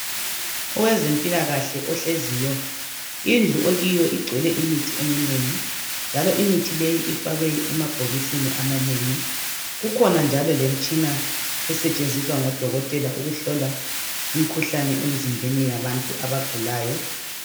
owezempilakahle ohleziyo indleu akiyo igcwele imithi eminengi njalo imithi leyo ifakwe emabhokisini amanengi kukhona njalo lemitshina esetshenziswa ngodokotela ukubona lokuhlola imikhuhlane emzimbheni yabantu abagulayo